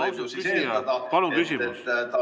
Austatud küsija, palun küsimus!